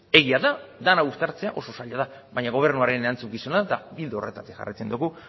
egia da dena uztartzea oso zaila dela baina gobernuaren erantzukizuna da eta ildo horretatik jarraitzen dugu